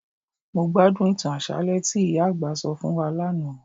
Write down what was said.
Mó gbádùn ìtàn àṣálẹ́ tí ìyá àgbà sọ fún wa lánàá